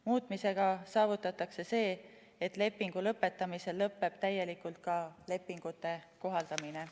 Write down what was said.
Muutmisega saavutatakse see, et lepingu lõpetamisel lõpeb täielikult ka lepingute kohaldamine.